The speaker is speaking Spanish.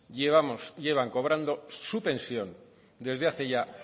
llevamos llevan cobrando su pensión desde hace ya